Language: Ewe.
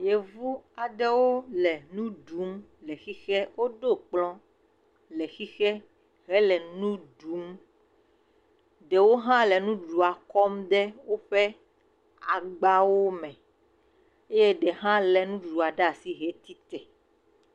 Yevu aɖewo le nuɖum le xixe. Woɖo kplɔ ɖe xixe hele nuɖum, ɖewo ha le nuɖuɖua kɔm de woƒe agbawo me eye ɖe ha le nuɖuɖua ɖe asi he tsitre.